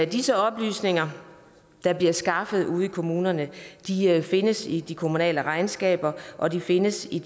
disse oplysninger der bliver skaffet ude i kommunerne findes i de kommunale regnskaber og de findes i